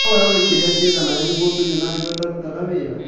No we ũĩ kĩrĩa kĩega nawe nĩguo ũtũre na higo itararuta wĩra